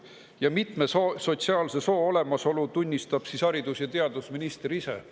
Ja mitme sotsiaalse soo olemasolu tunnistab haridus‑ ja teadusminister ise?